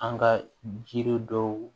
An ka jiri dɔw